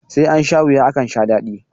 sai an sha wuya akan sha dadi